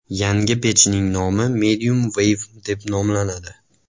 Yangi pechning nomi Mediumwave deb nomlanadi.